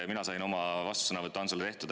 Mina sain oma vastusõnavõtu Antsule tehtud.